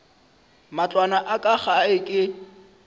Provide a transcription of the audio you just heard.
matlwana a ka gae ke